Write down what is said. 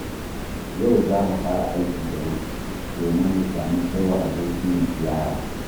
Yau zamu fara aiki da wuri, domin mu sami kai wa abokinmu ziyara.